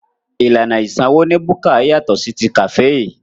Ìlànà ìsanwó ní búkà yàtọ̀ sí ti kàféè.